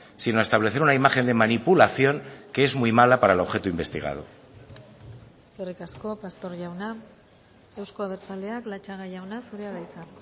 sino a establecer una imagen de manipulación que es muy mala para el objeto investigado eskerrik asko pastor jauna euzko abertzaleak latxaga jauna zurea da hitza